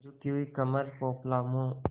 झुकी हुई कमर पोपला मुँह